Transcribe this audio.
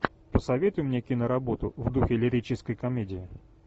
посоветуй мне киноработу в духе лирической комедии